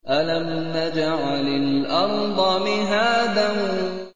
أَلَمْ نَجْعَلِ الْأَرْضَ مِهَادًا